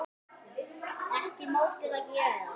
Ekki mátti það gerast.